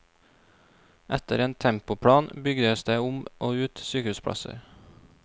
Etter en tempoplan bygges det om og ut sykehusplasser.